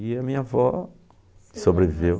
E a minha avó sobreviveu.